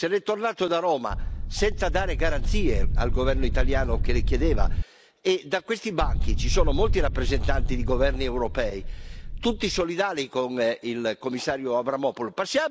Se ne è tornato da Roma senza dare garanzie al governo italiano che le chiedeva, e da questi banchi ci sono molti rappresentanti di governi europei, tutti solidali con il commissario Avramopoulos.